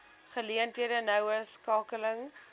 geleenthede noue skakeling